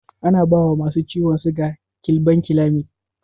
Ana bawa masu ciwon siga gilabankilamid.